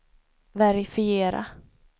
verifiera